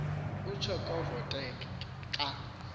utsho kovokothe xa